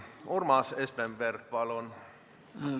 Urmas Espenberg, palun!